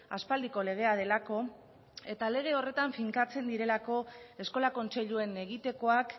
aspaldiko legea delako eta lege horretan finkatzen direlako eskola kontseiluen egitekoak